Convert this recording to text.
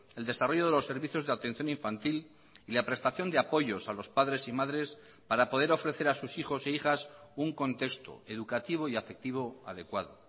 el desarrollo de los servicios de atención infantil y la prestación de apoyos a los padres y madres para poder ofrecer a sus hijos e hijas un contexto educativo y afectivo adecuado